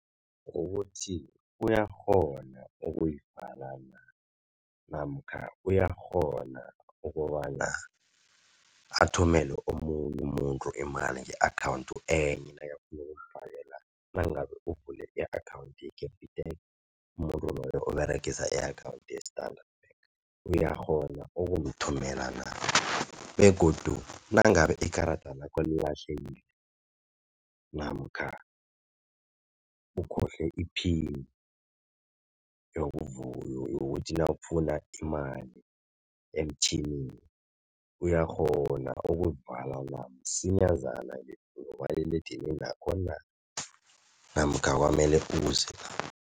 Ukuthi uyakghona ukuyivala na? Namkha uyakghona ukobana athumele omunye umuntu imali nge-akhawundi enye nakafuna ukumfakela nangabe uvule i-akhawundi ye-Capitec umuntu loyo oberegisa i-akhawunti ye-Standard Bank. Uyakghona ukumthumela na? Begodu nangabe ikarada lakho lilahlekile namkha ukhohlwe iphini yokuthi nawufuna imali emtjhinini uyakghona ukulivala na msinyazana ngomaliledinini wakho na? Namkha kwanele uze